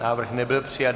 Návrh nebyl přijat.